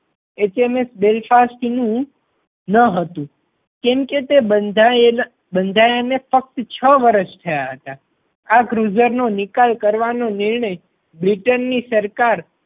HMS Belfast નું ન હતું. કેમ કે તે બંધાયેલા બંધાયા ને ફક્ત છ વર્ષ થયા હતા. આ cruizer નો નિકાલ કરવાનો નિર્ણય બ્રિટન ની સરકાર